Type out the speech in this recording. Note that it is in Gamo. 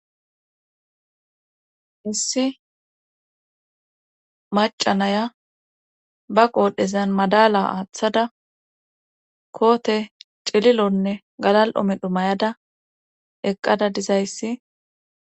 issi macanaya ba qoodhezan madala aaththada koote cililonne galal7omedhu mayada eqqada dizayssi